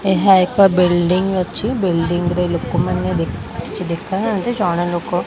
ଏହା ଏକ ବିଲ୍ଡିଂ ଅଛି ବିଲ୍ଡିଂରେ ଲୋକମାନେ ଦେ କିଛି ଦେଖା ହଅନ୍ତି ଜାଣେ ଲୋକ --